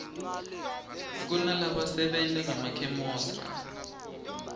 kunalaba sebentangema khemosra